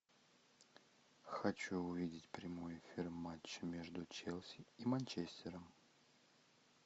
хочу увидеть прямой эфир матча между челси и манчестером